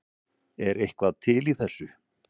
Er eitthvað til í þessu